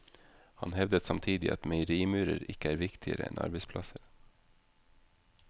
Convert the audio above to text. Han hevdet samtidig at meierimurer ikke er viktigere enn arbeidsplasser.